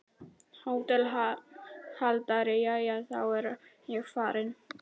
HÓTELHALDARI: Jæja, þá er ég farinn.